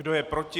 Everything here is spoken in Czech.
Kdo je proti?